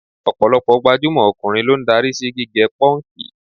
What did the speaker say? Ọ̀pọ̀lọpọ̀ gbajúmọ̀ ọkùnrin ló ń darí sí gígẹ pọ́ǹkì.